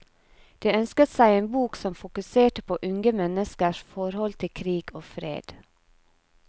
De ønsket seg en bok som fokuserte på unge menneskers forhold til krig og fred.